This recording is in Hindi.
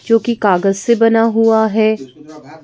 जोकि कागज़ से बना हुआ है।